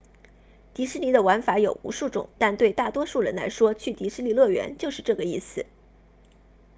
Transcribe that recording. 迪士尼的玩法有无数种但对大多数人来说去迪士尼乐园就是这个意思